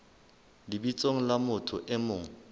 lebitsong la motho e mong